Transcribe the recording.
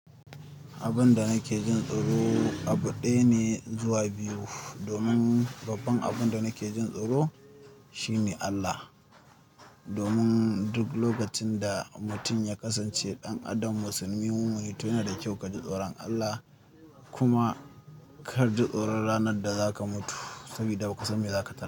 Abun da nake jin tsoro abu ɗaya ne zuwa biyu. Domin babban abun da nake jin tsoro shine Allah. Domin duk lokacin da mutum ya kasance ɗan adam musulmi hunu huni, to yana da kyau ka ji tsoron Allah kuma ka ji tsoron ranar da za ka mutu saboda ba ka san me za ka ta.